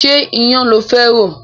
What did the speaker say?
Ṣé iyan lo fẹ́ rò?